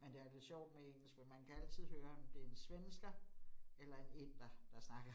Men det er lidt sjovt med engelsk for man kan altid høre, om det er en svensker eller en inder, der snakker.